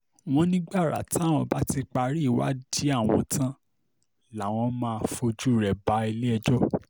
wọ́n ní gbàrà táwọn bá ti parí ìwádìí àwọn tán làwọn máa fojú rẹ̀ balẹ̀-ẹjọ́